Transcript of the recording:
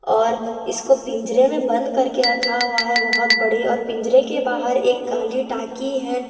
और इसको पिंजरे में बंद करके रखा हुआ है बहुत बड़े और पिंजरे के बाहर एक काली टाकी है।